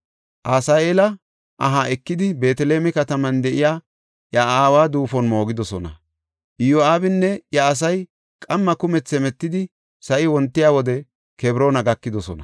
Asaheela aha ekidi, Beeteleme kataman de7iya iya aawa duufon moogidosona. Iyo7aabinne iya asay qamma kumethi hemetidi sa7i wontiya wode Kebroona gakidosona.